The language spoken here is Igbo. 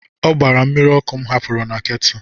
Ọ gbaara mmiri ọkụ m hapụrụ na ketu.